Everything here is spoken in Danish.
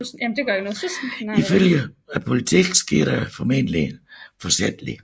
Ifølge politiet skete det formentlig forsætligt